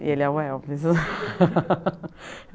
E ele é o Elvis.